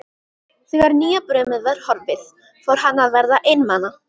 Þegar nýjabrumið var horfið fór hann að verða einmana.